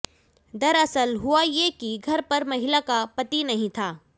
दरअसल हुआ ये कि घर पर महिला का पति नहीं था